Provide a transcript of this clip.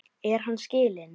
Er hann skilinn?